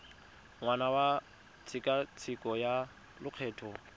ngwaga wa tshekatsheko ya lokgetho